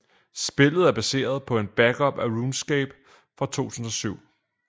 Spillet er baseret på en backup af RuneScape fra 2007